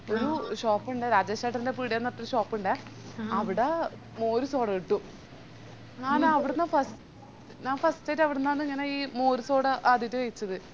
ഒരു shop ഇണ്ടേ രാജേഷേട്ടൻറെ പീടിയന്ന് പറഞ്ഞിട്ടൊരു shop ഇണ്ടേ അവിടെ മോരുസോഡ കിട്ടും ഞാനവിടുന്ന ഫസ്സ് ഞാൻ first ആയിറ്റ്‌ അവിടുന്നാന്ന് ഇങ്ങനെ ഈ മോരും സോഡ ആദ്യായിട്ട് കഴിച്ചത്